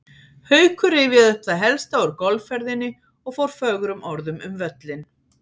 Haukur rifjaði upp það helsta úr golfferðinni og fór fögrum orðum um völlinn.